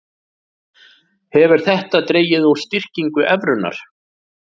Hefur þetta dregið úr styrkingu evrunnar